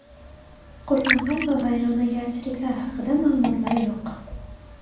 Qurbonlar va vayronagarchiliklar haqida ma’lumotlar yo‘q.